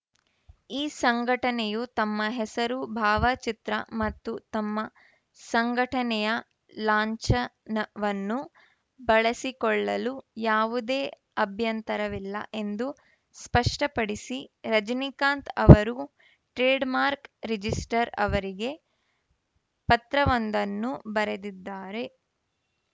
ಈ ಸಂಘಟನೆಯು ತಮ್ಮ ಹೆಸರು ಭಾವಚಿತ್ರ ಮತ್ತು ತಮ್ಮ ಸಂಘಟನೆಯ ಲಾಂಛನವನ್ನು ಬಳಸಿಕೊಳ್ಳಲು ಯಾವುದೇ ಅಭ್ಯಂತರವಿಲ್ಲ ಎಂದು ಸ್ಪಷ್ಟಪಡಿಸಿ ರಜನೀಕಾಂತ್‌ ಅವರು ಟ್ರೆಡ್‌ಮಾರ್ಕ್ ರಿಜಿಸ್ಟ್ರರ್‌ ಅವರಿಗೆ ಪತ್ರವೊಂದನ್ನು ಬರೆದಿದ್ದಾರೆ